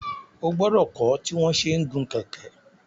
O gbọdọ kọ tí wọn ṣẹ n gun kẹkẹ!